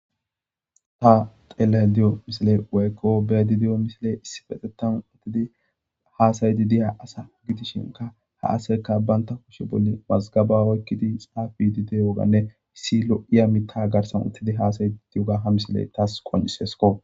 Ta xelayda diyyo missile woykko bea'ydda diyyo missile issippetethan uttidi hassai'di assa gidishin ha assayikka banta kushe bolla mazgaba oyqidi diyogane issi lo'a miththa garsan uttidi hassai'di diyogga ha missile tas qoncisikko.